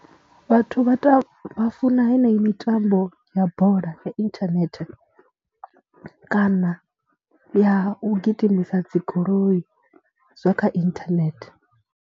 Vhathu vha tou vha funa heneyi mitambo ya bola ya inthanethe kana ya u gidimisa dzi goloi zwa kha inthanethe.